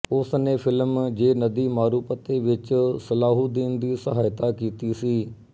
ਉਸ ਨੇ ਫ਼ਿਲਮ ਜੇ ਨਦੀ ਮਾਰੂਪਤੇ ਵਿੱਚ ਸਲਾਹੁਦੀਨ ਦੀ ਸਹਾਇਤਾ ਕੀਤੀ ਸੀ